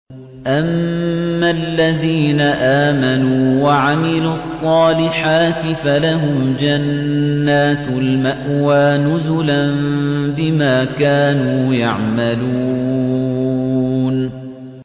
أَمَّا الَّذِينَ آمَنُوا وَعَمِلُوا الصَّالِحَاتِ فَلَهُمْ جَنَّاتُ الْمَأْوَىٰ نُزُلًا بِمَا كَانُوا يَعْمَلُونَ